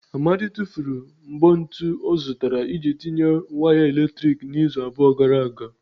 Amadi tụfuru mbọ ntu ọ zụtara iji tinye waya eletrik n'izu abụọ gara aga.